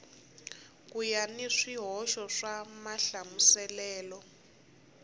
ku na swihoxo swa mahlamuselelo